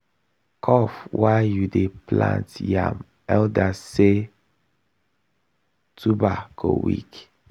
cough while you dey plant yam elders say tuber go weak.